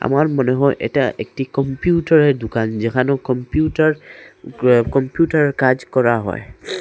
আমার মনে হয় এটা একটি কম্পিউটারের দুকান যেখানেও কম্পিউটার ক্র কম্পিউটার কাজ করা হয়।